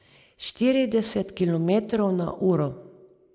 Štirideset kilometrov na uro.